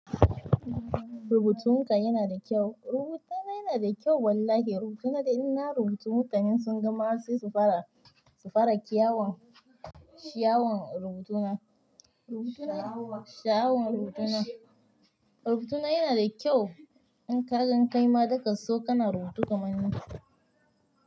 Rubutunka yana da kyau. Rubutuna yana da kyau wallahi. Rubutuna dai ina rubuta mutanen sun gama sai su fara, su fara kyawon, shaawan rubutuna, shaawan rubutuna. Rubutuna yana da kyau in ka gan kaima daka so kana rubutu kamar ni.